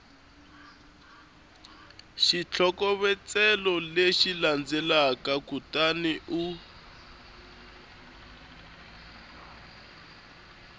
xitlhokovetselo lexi landzelaka kutani u